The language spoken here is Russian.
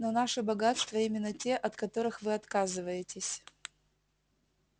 но наши богатства именно те от которых вы отказываетесь